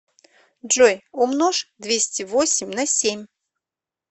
джой умножь двести восемь на семь